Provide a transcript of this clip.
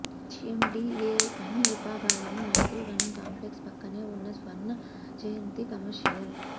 HMDA అన్ని విభాగాలను Maitrivanam complex పక్కనే ఉన్న స్వర్ణ జయంతి కమర్షియల్